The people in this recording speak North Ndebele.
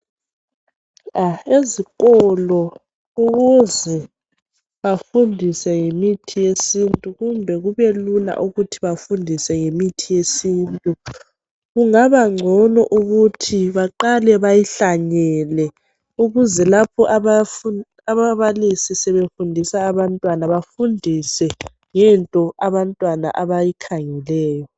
Ezikolo ukuze bafundise ngemithi yesintu kumbe kube lula ukuthi bafundise ngemithi yesintu, kungabangcono ukuthi baqale bayihlanyele, ukuze lapho ababalisi sebefundisa abantwana, bafundise ngento abantwana abayikhangeleyo.